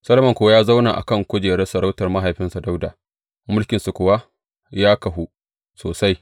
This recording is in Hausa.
Solomon kuwa ya zauna a kan kujerar sarautar mahaifinsa Dawuda, mulkinsa kuwa ya kahu sosai.